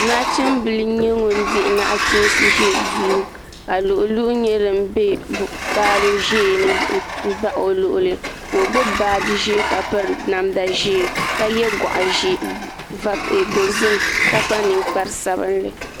Nachimbili n nyɛ ŋun di nachiinsi ʒɛ o duu ka luɣi luɣu nyɛ din bɛ kpaalɛ ni n baɣa o luɣuli ka o gbubi baaji ʒiɛ ka piri namda ʒiɛ ka yɛ goɣa dozik ka kpa ninkpari sabinli